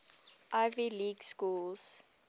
ivy league schools